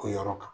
O yɔrɔ kan